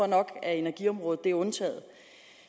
nok at energiområdet er undtaget